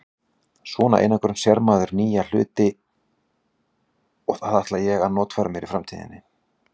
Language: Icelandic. svona einangrun sér maður nýja hluti og það ætla ég að notfæra mér í framtíðinni.